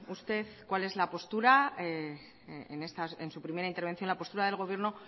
usted cuál es la postura en su primera intervención la postura del gobierno